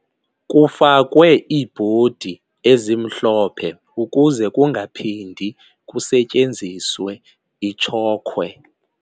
Kufakwe iibhodi ezimhlophe ukuze kungaphindi kusetyenziswe itshokhwe.